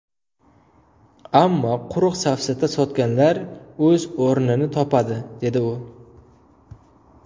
Ammo quruq safsata sotganlar o‘z o‘rnini topadi”, dedi u.